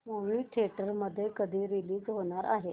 movie theatre मध्ये कधी release होणार आहे